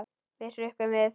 Við hrukkum við.